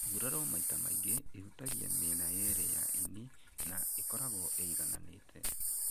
Nguraro maita maingĩ ĩhutagia mĩena yerĩ ya ini na ĩkoragwo ĩigananĩte